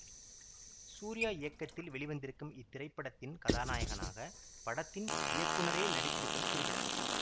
சூர்யா இயக்கத்தில் வெளிவந்திருக்கும் இத்திரைப்படத்தின் கதாநாயகனாக படத்தின் இயக்குனரே நடித்திருப்பது குறிப்பிட தக்கது